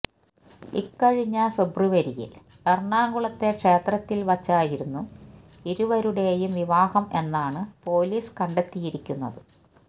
ഇക്കഴിഞ്ഞ ഫെബ്രുവരിയില് എറണാകുളത്തെ ക്ഷേത്രത്തില് വച്ചായിരുന്നു ഇരുവരുടേയും വിവാഹം എന്നാണ് പൊലീസ് കണ്ടെത്തിയിരിക്കുന്നത്